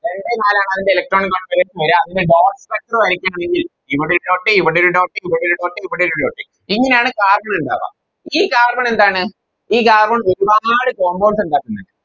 Electron configuration Dot circle വരക്കണമെങ്കിൽ ഇവിടെയൊരു Dot ഇവിടെയൊരു Dot ഇവിടെയൊരു Dot ഇവിടെയൊരു Dot ഇങ്ങനെയാണ് Carbon ഇണ്ടവ ഈ Carbon എന്താണ് ഈ Carbon ഒരുപാട് Compounds ഇണ്ടാക്കുന്നുണ്ട